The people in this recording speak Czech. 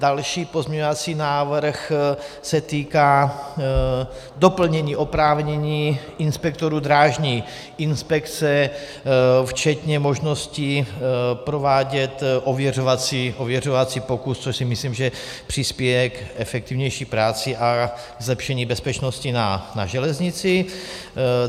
Další pozměňovací návrh se týká doplnění oprávnění inspektorů drážní inspekce včetně možností provádět ověřovací pokus, což si myslím, že přispěje k efektivnější práci a zlepšení bezpečnosti na železnici.